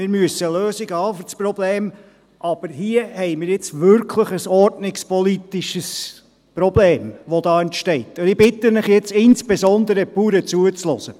Wir müssen dafür Lösungen haben, aber hier haben wir nun wirklich ein ordnungspolitisches Problem, das entsteht, und ich bitte Sie jetzt zuzuhören, insbesondere die Bauern.